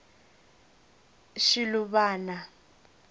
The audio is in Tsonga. shiluvana